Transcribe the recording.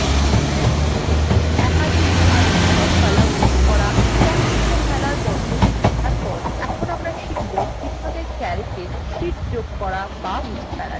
একটি sheetএর মধ্যে একাধিক সারি এবং কলাম যোগ করা এবং মুছে ফেলার পদ্ধতি শেখার পর এখন আমরা শিখব কিভাবে calcwe sheet যোগ করা এবং মুছে ফেলা যায়